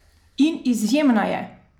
In izjemna je!